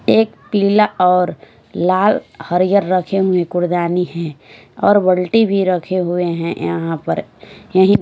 एक पीला और लाल हरि ये रखे हुए कूड़ेदानी है और बाल्टी भी रखे हुए है यहां पर य--